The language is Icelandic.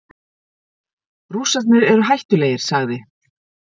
Rússarnir eru hættulegir, sagði